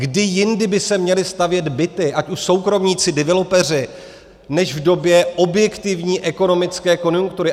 Kdy jindy by se měly stavět byty, ať už soukromníci, developeři, než v době objektivní ekonomické konjunktury?